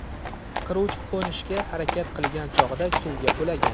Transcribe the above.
Qiruvchi qo‘nishga harakat qilgan chog‘da suvga qulagan.